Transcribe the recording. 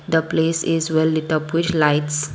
The place is well with a with lights.